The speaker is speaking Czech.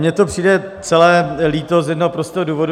Mně to přijde celé líto z jednoho prostého důvodu.